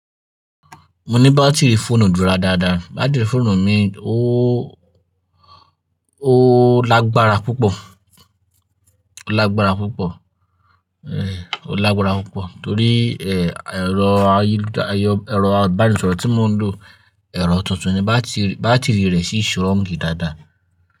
Mo ní bátìríì fóònù dúró dáadáa. Bátìrì fóònù mi ó lágbára púpọ̀, ó lágbára púpọ̀, ẹn ó lágbára púpọ̀ torí èrọ ayélujára, èrọ ìbánisọ̀rọ̀ tí mò ń lò, èrọ tuntun ni bátìrìí rẹ̀ sì strong gidi dáadáa.